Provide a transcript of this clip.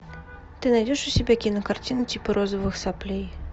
ты найдешь у себя кинокартину типа розовых соплей